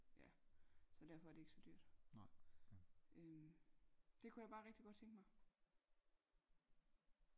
Ja så derfor er det ikke så dyrt øhm det kunne jeg bare rigtig godt tænke mig